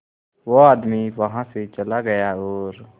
वो आदमी वहां से चला गया और